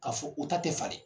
Ka fɔ u ta tɛ falen.